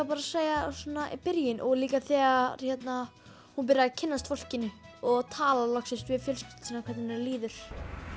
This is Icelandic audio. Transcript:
bara segja byrjunin og líka þegar hún byrjar að kynnast fólkinu og tala loksins við fjölskylduna sína um hvernig henni líður